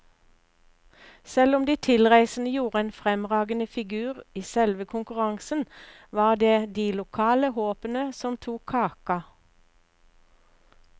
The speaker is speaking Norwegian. Selv om de tilreisende gjorde en fremragende figur i selve konkurransen, var det de lokale håpene som tok kaka.